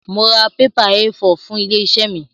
Mo ra pépà Éé 4 fún ilé-iṣẹ́ mi.